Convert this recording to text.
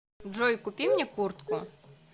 джой купи мне куртку